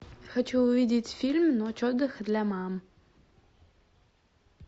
хочу увидеть фильм ночь отдыха для мам